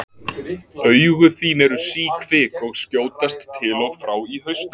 Augu þín eru síkvik og skjótast til og frá í hausnum.